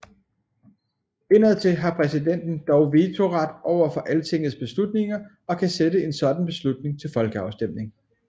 Indadtil har præsidenten dog vetoret over for Altingets beslutninger og kan sætte en sådan beslutning til folkeafstemning